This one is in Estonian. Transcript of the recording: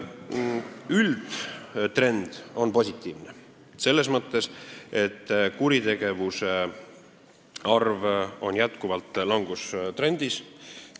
Üldtrend on positiivne selles mõttes, et kuritegude arv on jätkuvalt langustrendis.